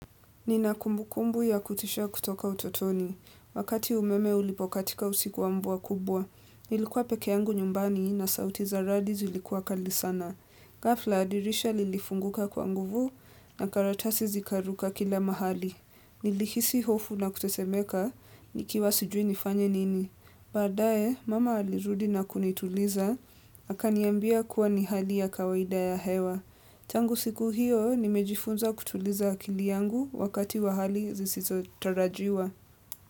Nina kumbukumbu ya kutisha kutoka utotoni. Wakati umeme ulipokatika usiku wa mvua kubwa. Nilikuwa peke yangu nyumbani na sauti za radi zilikuwa kali sana. Gafla dirisha lilifunguka kwa nguvu na karatasi zikaruka kila mahali. Nilihisi hofu na kutesemeka nikiwa sijui nifanye nini. Baadaye, mama alirudi na kunituliza. Aka niambia kuwa ni hali ya kawaida ya hewa. Tangu siku hiyo, nimejifunza kutuliza akili yangu wakati wa hali zisizo tarajiwa.